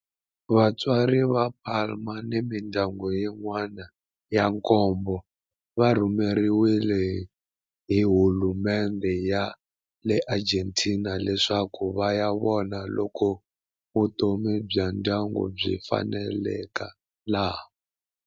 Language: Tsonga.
Vatswari va Palma ni mindyangu yin'wana ya nkombo va rhumeriwe hi hulumendhe ya le Argentina leswaku va ya vona loko vutomi bya ndyangu byi faneleka laha.